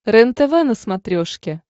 рентв на смотрешке